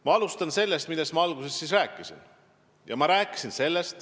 Ma alustan sellest, millest ma täna kõigepealt rääkisin.